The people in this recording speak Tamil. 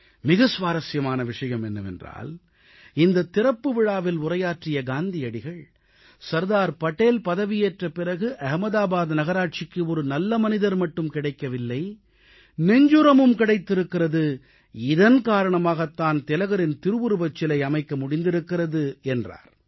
மிக சுவாரசியமான விஷயம் என்னவென்றால் இந்தத் திறப்பு விழாவில் உரையாற்றிய காந்தியடிகள் சர்தார் படேல் பதவியேற்ற பிறகு அகமதாபாத் நகராட்சிக்கு ஒரு நல்ல மனிதர் மட்டும் கிடைக்கவில்லை நெஞ்சுரமும் கிடைத்திருக்கிறது இதன் காரணமாகத் தான் திலகரின் திருவுருவச் சிலை அமைக்க முடிந்திருக்கிறது என்றார்